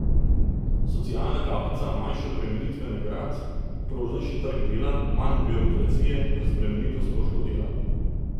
Socialna kapica, manjše obremenitve nagrad, prožnejši trg dela, manj birokracije, razbremenitev stroškov dela ...